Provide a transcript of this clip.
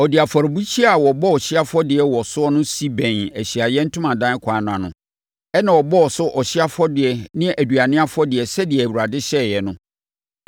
Ɔde afɔrebukyia a wɔbɔ ɔhyeɛ afɔdeɛ wɔ so no si bɛn Ahyiaeɛ Ntomadan ɛkwan no ano, ɛnna ɔbɔɔ so ɔhyeɛ afɔdeɛ ne aduane afɔdeɛ sɛdeɛ Awurade hyɛeɛ no.